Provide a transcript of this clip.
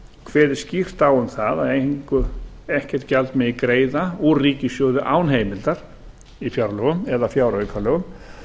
kveðið skýrt á um að ekkert gjald megi greiða úr ríkissjóði án heimildar í fjárlögum eða fjáraukalögum